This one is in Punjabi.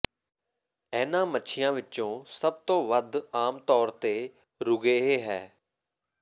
ਇਹਨਾਂ ਮੱਛੀਆਂ ਵਿੱਚੋਂ ਸਭ ਤੋਂ ਵੱਧ ਆਮ ਤੌਰ ਤੇ ਰੂਗੇਏ ਹੈ